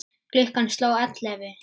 Klukkan sló ellefu.